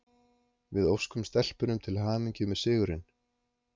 Við óskum stelpunum til hamingju með sigurinn!